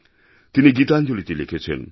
তিনি গীতাঞ্জলিতে লিখেছেন